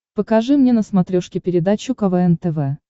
покажи мне на смотрешке передачу квн тв